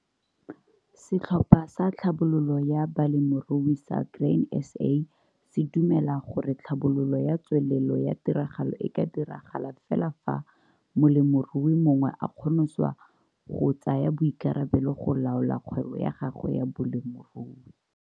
Setlhopha sa Tlhabololo ya Balemirui sa Grain SA se dumela gore tlhabololo ya tswelelo ya tiragalo e ka diragala fela fa molemirui mongwe a kgoniswa go tsaya boikarabelo go laola kgwebo ya gagwe ya bolemirui.